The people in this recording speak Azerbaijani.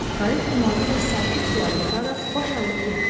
Qayıq dumanı və sakit suları yararaq baş alıb getdi.